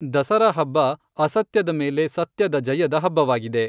ದಸರಾ ಹಬ್ಬಅಸತ್ಯದ ಮೇಲೆ ಸತ್ಯದ ಜಯದ ಹಬ್ಬವಾಗಿದೆ.